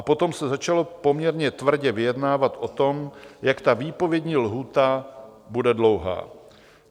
A potom se začalo poměrně tvrdě vyjednávat o tom, jak ta výpovědní lhůta bude dlouhá.